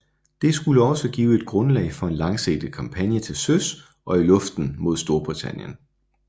Det skulle også give et grundlag for en langsigtet kampagne til søs og i luften mod Storbritannien